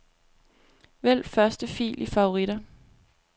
Vælg første fil i favoritter.